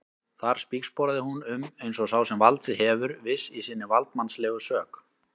Þar spígsporaði hún um eins og sá sem valdið hefur, viss í sinni valdsmannslegu sök.